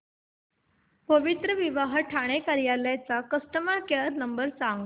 पवित्रविवाह ठाणे कार्यालय चा customer care number सांग